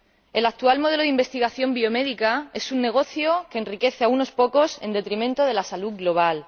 El actual modelo de investigación biomédica es un negocio que enriquece a unos pocos en detrimento de la salud global.